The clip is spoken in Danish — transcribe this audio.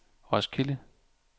Roskilde